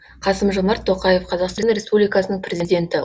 қасым жомарт тоқаев қазақстан республикасының президенті